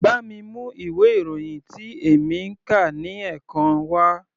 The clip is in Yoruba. Bá mi mú ìwé ìròyìn tí èmi ń kà ní ẹ̀kan wá.